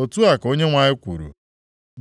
Otu a ka Onyenwe anyị kwuru,